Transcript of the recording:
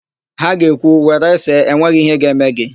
Ha ga ekwu, "were see, enweghị íhé ga-eme gị"!